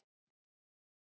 Ágæta Katrín.